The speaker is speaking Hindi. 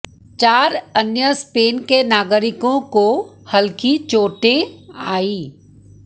चार अन्य स्पेन के नागरिकों को हल्की चोटें आईं